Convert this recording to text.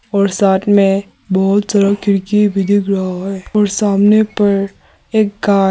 और साथ में बहुत सारा खिड़की भी दिख रहा है और सामने पर एक गाय--